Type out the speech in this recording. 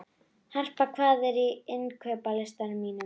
Harpa, hvað er á innkaupalistanum mínum?